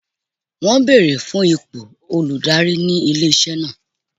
Wọn beere fun ipo oludari ni ile-iṣẹ naa.